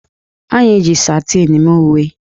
Anyị ji satịn mee uwe